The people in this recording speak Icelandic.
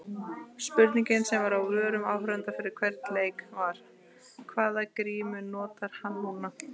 Spurningin sem var á vörum áhorfenda fyrir hvern leik var- hvaða grímu notar hann núna?